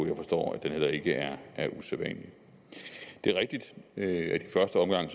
jeg forstår at det heller ikke er usædvanligt det er rigtigt at i første omgang